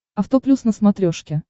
авто плюс на смотрешке